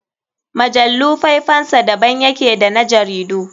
Mujallu faifansa da ban yake da na jaridu.